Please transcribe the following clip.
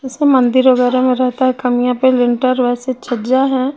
जैसा मंदिर वगैरा में रेहता है कमियां पेर विंटर वैसी छजियां है।